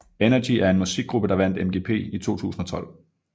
Energy er en musikgruppe der vandt MGP i 2012